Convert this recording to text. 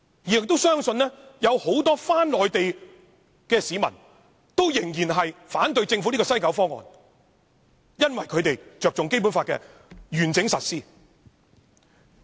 我們也相信，不少往內地的市民仍會反對政府推出的西九"一地兩檢"方案，因為他們着重《基本法》的完整實施。